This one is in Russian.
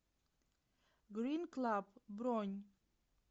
грин клаб бронь